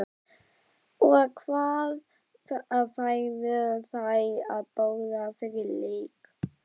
og hvað færðu þér að borða fyrir leik?